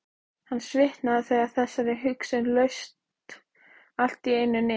Hann svitnaði þegar þessari hugsun laust allt í einu niður.